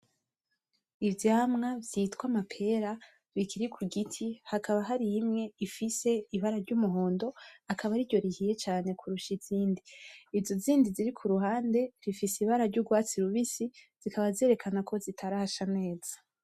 Ivyamwa vyitwa amapera bikiri kugiti , hakaba hari imwe ifise ibara ryumuhondo akaba ariryo rihiye cane kurusha izindi , izo zindi ziri kuruhande zifise ibara ryurwatsi rubisi zikaba zerekana ko zitarasha neza .